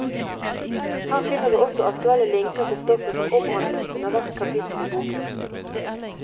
Her finner du også aktuelle linker til stoffet som omhandles under hvert kapittel i boken.